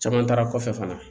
Caman taara kɔfɛ fana